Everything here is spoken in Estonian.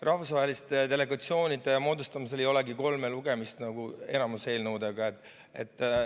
Rahvusvaheliste delegatsioonide moodustamisel ei olegi kolme lugemist nagu enamiku eelnõude puhul.